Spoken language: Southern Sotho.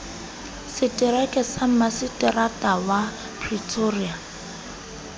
setereka sa maseterata wa pretoria